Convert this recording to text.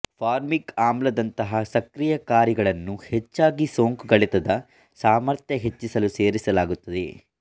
formic ಆಮ್ಲ ದಂತಹ ಸಕ್ರಿಯಕಾರಿಗಳನ್ನು ಹೆಚ್ಚಾಗಿ ಸೋಂಕುಗಳೆತದ ಸಾಮರ್ಥ್ಯ ಹೆಚ್ಚಿಸಲು ಸೇರಿಸಲಾಗುತ್ತದೆ